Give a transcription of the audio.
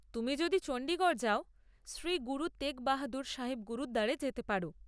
তুমি যদি চণ্ডীগড় যাও, শ্রী গুরু তেগ বাহাদুর সাহিব গুরুদ্বারে যেতে পার।